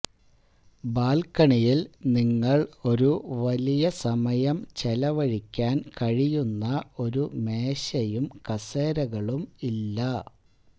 ബാൽക്കണിയിൽ നിങ്ങൾ ഒരു വലിയ സമയം ചെലവഴിക്കാൻ കഴിയുന്ന ഒരു മേശയും കസേരകളും ഇല്ല